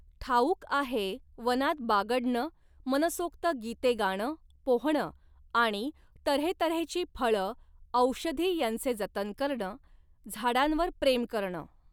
ठाऊक आहे, वनात बागडणं, मनसोक्त गीते गाणं, पोहणं आणि तऱ्हेतऱ्हेची फळं औषधी यांचे जतन करणं, झाडांवर प्रेम करणं.